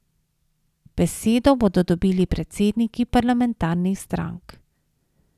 Besedo bodo dobili predsedniki parlamentarnih strank.